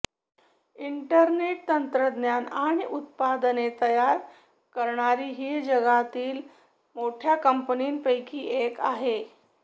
interconnect तंत्रज्ञान आणि उत्पादने तयार करणारी ही जगातील मोठ्या कंपन्यांपैकी एक आहे